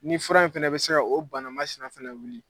Ni fura in fana bɛ se o banamasina fana wuli